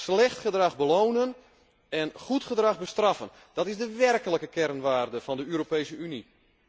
Slecht gedrag belonen en goed gedrag bestraffen, dat is de werkelijke kernwaarde van de Europese Unie.